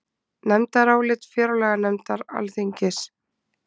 Nefndarálit fjárlaganefndar Alþingis